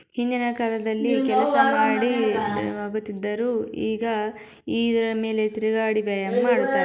ಹಿಂದಿನ ಕಾಲದಲ್ಲಿ ಕೆಲಸ ಮಾಡಿ ಆಗುತಿದ್ದರು ಈಗ ಈ ಇದರ ಮೇಲೆ ತಿರುಗಾಡಿ ವ್ಯಾಯಾಮ ಮಾಡುತ್ತಾರೆ.